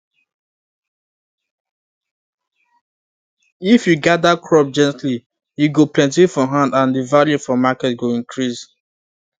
if you you gather crop gently e go plenty for hand and the value for market go increase